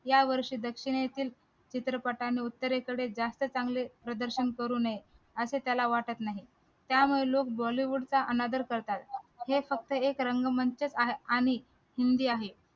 यावर्षी दक्षिणेतील चित्रपटाने उत्तरेकडे जास्त चांगले प्रदर्शन करू नये असे त्याला वाटत आहे त्यामुळे लोक bollywood चा अनादर करतात हे फक्त एक रंगमंच आणि आहे